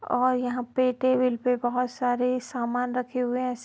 और यहां पे टेबेल पे बहो सारे सामान रखे हुए हैं। --